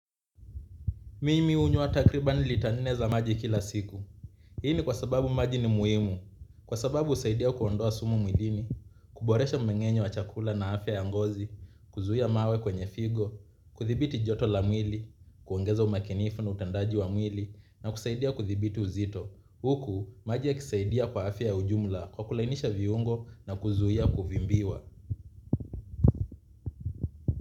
Mimi hunywa takribani lita nne za maji kila siku. Hii ni kwa sababu maji ni muhimu. Kwa sababu usaidia kuondoa sumu mwilini, kuboresha mmengenyo wa chakula na afya ya ngozi, kuzuhia mawe kwenye figo, kuthibiti joto la mwili, kuongeza umakinifu na utendaji wa mwili, na kusaidia kudhibiti uzito. Huku, maji yakisaidia kwa afya ya ujumla, kwa kulainisha viungo na kuzuhia kuvimbiwa.